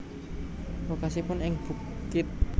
Lokasipun ing bukit